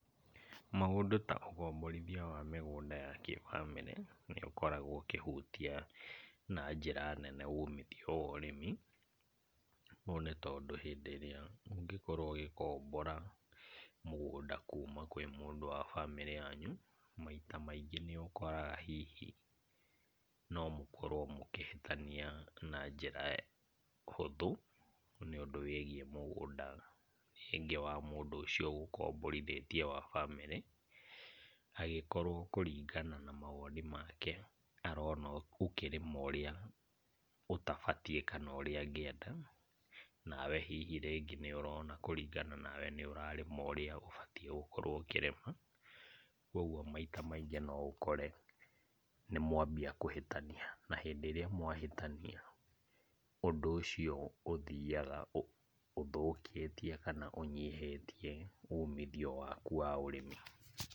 Maũndũ ta ũkomborithia wa mĩgũnda ya kĩbamĩrĩ, nĩ ũkoragwo ũkĩhuta na njĩra nene umithio wa ũrĩmi. Ũũ nĩ tondũ hĩndĩ ĩrĩa ũngĩkorwo ũgĩkombora mũgũnda kuma kwĩ mũndũ wa bamĩrĩ yanyu, maita maingĩ nĩũkoraga hihi no mũkorwo mũkĩhĩtania na njĩra hũthũ nĩũndũ wĩgiĩ mũngũnda rĩngĩ wa mũndũ ũcio ũgũkomborithĩtie wa bamĩrĩ, angĩkorwo kũringana na mawoni make arona ũkĩrĩma ũrĩa ũtabatiĩ kana ũrĩa angĩenda, nawe hihi rĩngĩ nĩũrona kũringana nawe nĩũrarĩma ũrĩa ũbatiĩ gũkorwo ũkĩrĩma, kuoguo maita maingĩ no ũkore nĩmwanbia kũhĩtania, na hĩndĩ ĩrĩa mwahĩtania, ũndũ ũcio ũthiaga ũthũkĩtie kana ũnyihĩtie umithio waku wa ũrĩmi.